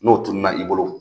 N'o tununa i bolo